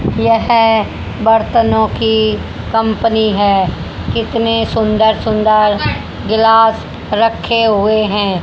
यह बर्तनों की कंपनी हैं कितने सुंदर सुंदर ग्लास रखें हुए हैं।